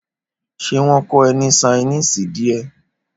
Ṣé wón kó e ní sainísì díè?